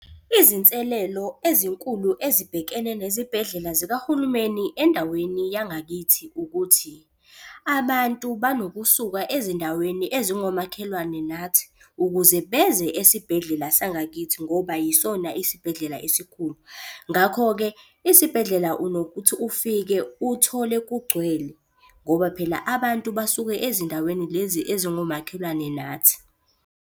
Izinselelo ezinkulu ezibhekene nezibhedlela zikahulumeni endaweni yangakithi ukuthi, abantu banokusuka ezindaweni ezingomakhelwane nathi ukuze beze esibhedlela sangakithi ngoba yisona isibhedlela esikhulu. Ngakho-ke isibhedlela unokuthi ufike uthole kugcwele ngoba phela abantu basuke ezindaweni lezi ezingomakhelwane nathi.